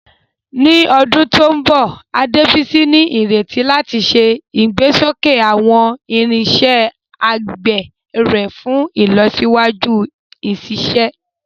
Ní ọdún tó ń bọ̀, Adebisi ní ìrètí láti ṣe ìgbésókè àwọn irinṣẹ́ àgbẹ̀ rẹ̀ fún ìlọsíwájú ìṣiṣẹ́.